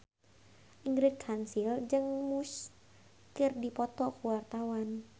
Ingrid Kansil jeung Muse keur dipoto ku wartawan